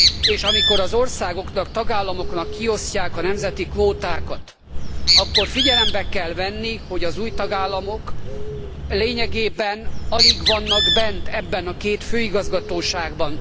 És amikor az országoknak, tagállamoknak kiosztják a nemzeti kvótákat, akkor figyelembe kell venni, hogy az új tagállamok lényegében alig vannak bent ebben a két főigazgatóságban.